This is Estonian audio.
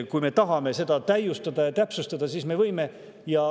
Kui me tahame seda täiustada ja täpsustada, siis me seda võime.